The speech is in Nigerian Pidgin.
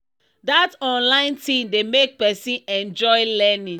that online thing dey make person enjoy learning